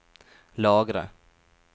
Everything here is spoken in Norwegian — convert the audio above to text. lagre